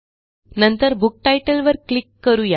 नंतर book title वर click करू या